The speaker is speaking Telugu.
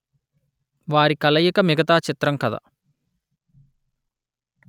వారి కలయిక మిగతా చిత్ర కథ